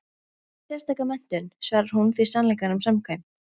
Enga sérstaka menntun, svarar hún því sannleikanum samkvæmt.